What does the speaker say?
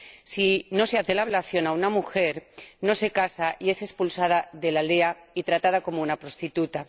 Si no se hace la ablación a una mujer, esta no se casa y es expulsada de la aldea y tratada como una prostituta.